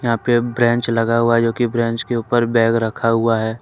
यहां पे ब्रेंच लगा हुआ है जोकि ब्रेंच के ऊपर बैग रखा हुआ है।